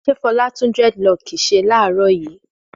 Fọlá tún dẹ́rẹ́dilọkì ṣe láàárọ̀ yìí?